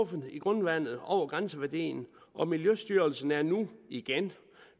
fundet i grundvandet over grænseværdien og miljøstyrelsen er nu igen